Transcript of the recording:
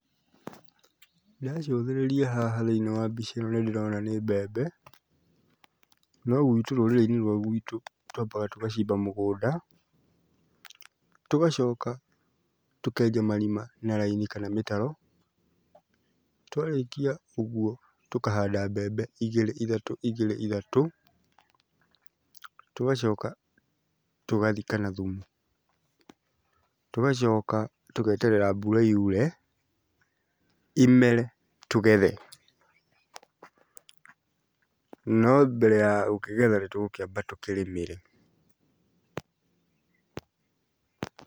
Ndacũthĩrĩria haha thĩiniĩ wa mbica ĩno nĩ ndĩrona nĩ mbembe no gwitũ, rũrĩrĩ-inĩ rwa gwitũ twambaga tũgacimba mũgũnda, tũgacoka tũkenja marima na raini kana mĩtaro. Twarĩkia ũguo tũkahanda mbembe igĩrĩ ithatũ, igĩrĩ ithatũ, tũgacoka tũgathika na thumu.T ũgacoka tũgeterera mbura yure imere tũgethe. No mbere ya gũkĩgetha nĩ tũgũkĩamba tũkĩrĩmĩre.